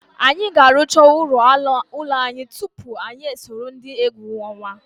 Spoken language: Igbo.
Anyị ga-arụcha ọrụ ụlọ anyị tupu anyị esoro ndị egwu ọnwa.